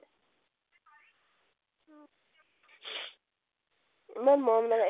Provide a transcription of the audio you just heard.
ইমান মৰম লাগে